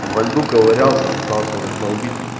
во льду ковырялся пытался раздолбить